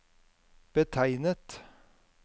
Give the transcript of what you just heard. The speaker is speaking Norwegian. betegnet